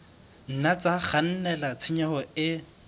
nna tsa kgannela tshenyong e